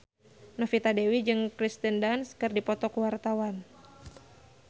Novita Dewi jeung Kirsten Dunst keur dipoto ku wartawan